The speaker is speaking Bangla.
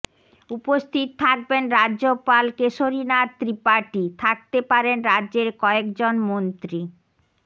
উপস্থিত থাকবেন রাজ্যপাল কেশরীনাথ ত্রিপাঠী থাকতে পারেন রাজ্যের কয়েকজন মন্ত্রী